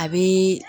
A bi